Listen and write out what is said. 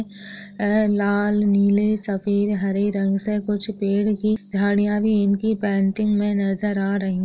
लाल नीले सफ़ेद हरे रंग से कुछ पेड़ की झाड़िया भी इनकी पेंटिंग मे नजर आ रही--